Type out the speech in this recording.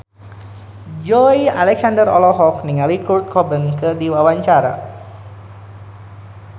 Joey Alexander olohok ningali Kurt Cobain keur diwawancara